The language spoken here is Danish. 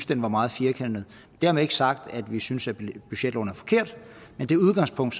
den var meget firkantet dermed ikke sagt at vi synes at budgetloven er forkert men det udgangspunkt